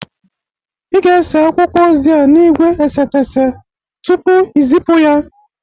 Ị ga-ese akwụkwọ ozi a n'igwe esetese tupu i zịpụ ya!